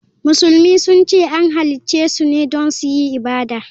Musulmi sun ce an halicce su ne don yin ibada.